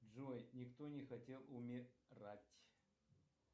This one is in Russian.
джой никто не хотел умирать